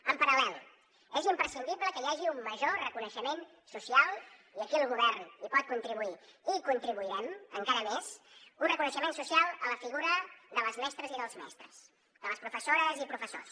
en paral·lel és imprescindible que hi hagi un major reconeixement social i aquí el govern hi pot contribuir i hi contribuirem encara més a la figura de les mestres i dels mestres de les professores i professors